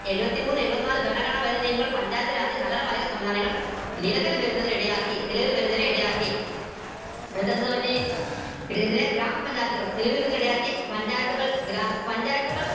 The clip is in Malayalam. എഴുപത്തിമൂന്ന് എഴുപത് നാല് ഭരണഘടന പഞ്ചായത്ത് നഗരപാലിക സംവിധാനങ്ങൾ നിലവിൽ വരുന്നതിനിടയാക്കി നിലവിൽ വരുന്നതിന് ഇടയാക്കിയ ഗ്രാമ പഞ്ചായത്തുകൾ നിലവിൽ വരുന്നതിന് ഇടയാക്കിയ പഞ്ചായത്തുകൾ പഞ്ചായത്തുകൾ